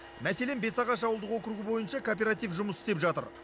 мәселен бесағаш ауылдық округі бойынша кооператив жұмыс істеп жатыр